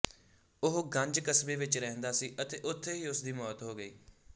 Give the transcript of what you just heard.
ਉਹ ਗੰਜ ਕਸਬੇ ਵਿੱਚ ਰਹਿੰਦਾ ਸੀ ਅਤੇ ਉਥੇ ਹੀ ਉਸਦੀ ਮੌਤ ਹੋ ਗਈ